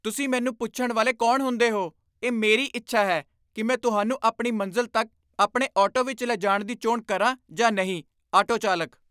ਤੁਸੀਂ ਮੈਨੂੰ ਪੁੱਛਣ ਵਾਲੇ ਕੌਣ ਹੁੰਦੇ ਹੋ? ਇਹ ਮੇਰੀ ਇੱਛਾ ਹੈ ਕੀ ਮੈਂ ਤੁਹਾਨੂੰ ਆਪਣੀ ਮੰਜ਼ਿਲ ਤੱਕ ਆਪਣੇ ਆਟੋ ਵਿੱਚ ਲਿਜਾਣ ਦੀ ਚੋਣ ਕਰਾਂ ਜਾਂ ਨਹੀਂ ਆਟੋ ਚਾਲਕ